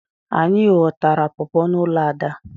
Anyị ghọtara pọpọ n'ụlọ Ada.